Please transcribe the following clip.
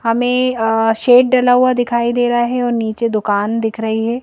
हमें शेड डला हुआ दिखाई दे रहा है और नीचे दुकान दिख रही है।